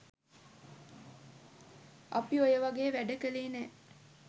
අපි ඔය වගේ වැඩ කලේ නෑ